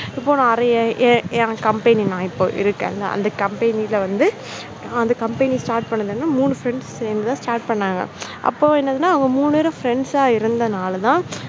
இப்போ நிறைய என் company நான் இப்போ இருக்கிற இல்ல company ல் வந்து அந்த company start பண்ணது வந்து மூன்று friends சேர்ந்து தான் start பண்ணாங்க. அப்போ என்னன்னா அந்த மூன்று பேர் friends ஆ இருந்தனால தான்